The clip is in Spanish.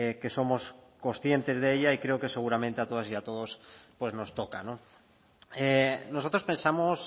que somos conscientes de ello y creo que seguramente a todas y a todos nos toca nosotros pensamos